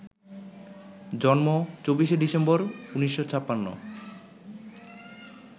জন্ম ২৪ ডিসেম্বর ১৯৫৬